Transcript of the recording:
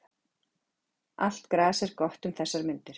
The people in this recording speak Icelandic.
Allt gras er gott um þessar mundir.